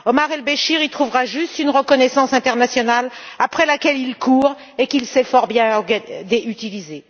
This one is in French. Omar El Béchir y trouvera juste une reconnaissance internationale après laquelle il court et qu'il sait fort bien utiliser.